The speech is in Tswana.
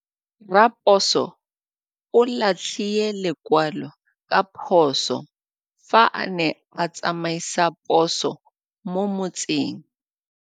Raposo o latlhie lekwalô ka phosô fa a ne a tsamaisa poso mo motseng.